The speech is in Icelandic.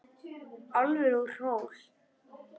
Álfur út úr hól.